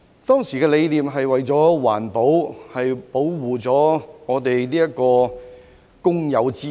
當時的理念是環保及保護公有資產。